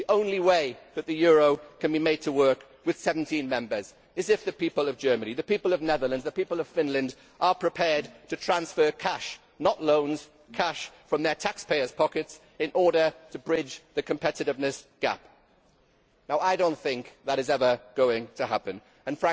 The only way that the euro can be made to work with 17 members is if the people of Germany, the people of the Netherlands, the people of Finland, are prepared to transfer cash not loans, cash from their taxpayers' pockets in order to bridge the competitiveness gap. Now I do not think that is ever going to happen and